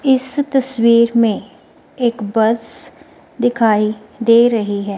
इस तस्वीर में एक बस दिखाई दे रही है।